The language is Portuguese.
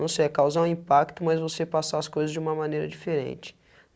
Não sei, é causar um impacto, mas você passar as coisas de uma maneira diferente.